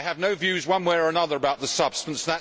I have no views one way or another about the substance